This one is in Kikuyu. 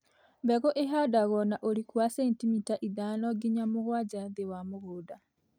Mbegũ ihandagwo na ũriku wa centimita ithano nginya mũgwanja thĩ wa mũgũnda.